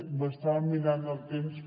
m’estaven mirant el temps